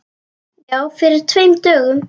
Já, fyrir tveim dögum.